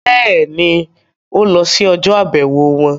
Bẹ́ẹ̀ni, ó lọ sí ọjọ́-àbẹ̀wò wọn?